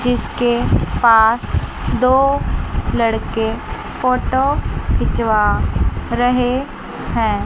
जिसके पास दो लड़के फोटो खिंचवा रहे हैं।